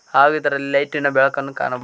ಹಾಗೆ ಇದರಲ್ಲಿ ಲೈಟಿ ನ ಬೆಳಕನ್ನು ಕಾಣ.